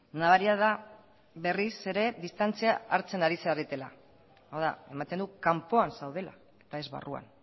nabaria da berriz ere distantzia hartzen ari zaretela hau da ematen du kanpoan zaudela eta ez barruan